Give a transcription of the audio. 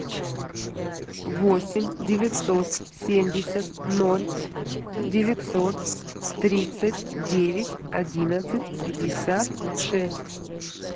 восемь девятьсот семьдесят ноль девятьсот тридцать девять одиннадцать пятьдесят шесть